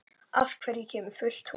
Af hverju kemur fullt tungl?